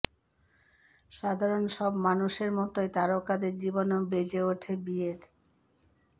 সাধারণ সব মানুষের মতোই তারকাদের জীবনেও বেজে ওঠে বিয়ের